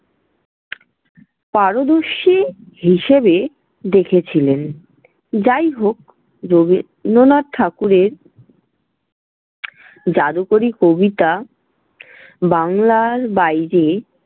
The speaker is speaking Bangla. পারদর্শী হিসেবে দেখেছিলেন। যাইহোক রবীন্দ্রনাথ ঠাকুরের জাদুকরি কবিতা বাংলার বাইরে।